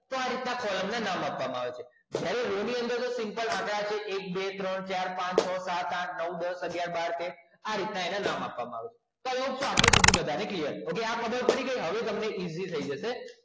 તો આવી રીતે કોલમ ના નામ લખવાના આવે છે જ્યારે એની અંદર simple આંકડા છે એક બે ત્રણ ચાર પાંચ છ સાત આઠ નવ દસ અગ્યાર આ રીતના નામ આપવામાં આવે છે તો આ વસ્તુ આપણને અત્યાર સુધી clear છે હવે આ ખબર પડી કે હવે આપણને easy થઈ જશે